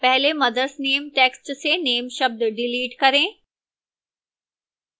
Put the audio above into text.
पहले mothers name text से name शब्द डिलीट करें